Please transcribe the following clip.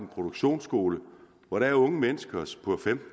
produktionsskole hvor der er unge mennesker